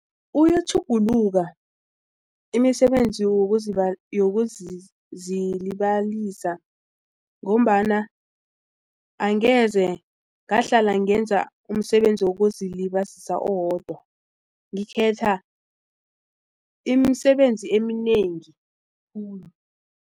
Uyatjhuguluka imisebenzi yokuzilibalisa ngombana angeze ngahlala ngenza umsebenzi wokuzilibazisa owodwa ngekhetha imisebenzi eminengi khulu.